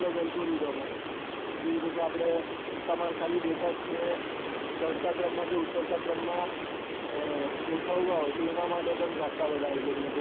algoridhem હોય જેવી રીતે કે અપડે તમાર ખાલી data ને ચડતા ક્રમ માં કે ઉતરતા ક્રમ માં ગોઠવવા હોય તો એના માટે પણ ખાસા બધા algoridhem